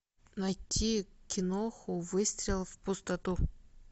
найти киноху выстрел в пустоту